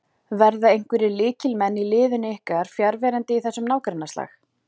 Verða einhverjir lykilmenn í liði ykkar fjarverandi í þessum nágrannaslag?